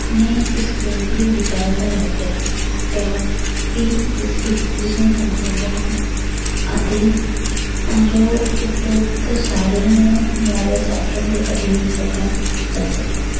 ਨੇ ਇਸ ਕੇਂਦਰੀ ਵਿਚਾਰਧਾਰਾ ਦਾ ਜਿਸ ਨੂੰ ਧੰਮ ਕਹਿੰਦੇ ਹਨ ਅਤੇ ਤਾਂ ਜੋ ਉਪਰੋਕਤ ਸਾਰਿਆਂ ਨੂੰ ਮੌਰੀਆ ਸ਼ਾਸ਼ਨ ਦੇ ਅਧੀਨ ਇਕੱਠਾ ਕੀਤਾ ਜਾ ਸਕੇ।